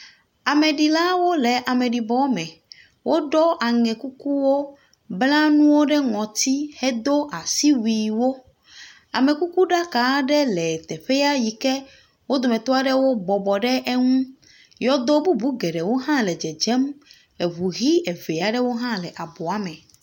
Ameɖilawo le ame ɖibɔ me. Wo ɖɔ aŋɛ kukuwo. Wobla nuwo ɖe ŋɔti hedo asiwuie wo. Amekukuɖaka aɖe le teƒea yi ke wo dometɔa ɖe ke bɔbɔ ɖe eŋu. Yɔdo bubuwo hã le dzedzem. Eŋu ʋi eve aɖewo hã le abɔ me.